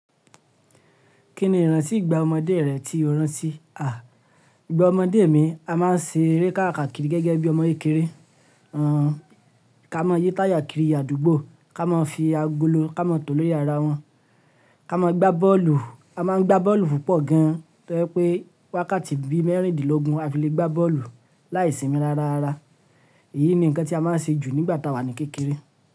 Kí ni ìrántí ìgbà ọmọdé rẹ tí o rin sí? À, ìgbà ọmọdé mi, a má n ṣe eré káàkàkiri gẹ́gẹ́ bí ọmọ kékeré. Àn, ká má n yí táyà kiri àdúgbò, ká máa fi agolo ká má n tò lórí ara wọn, ká máa gbá bọ́ọ̀lù. A má n gbá bọ́ọ̀lù púpọ̀ gan an tó jẹ pé wákàtí bí mẹ́rìndínlógún a fi le gbá bọ́ọ̀lù láìsinmin rárárara. Èyí ni nǹkan tí a má n ṣe jù nígbà tá wà ní kékeré.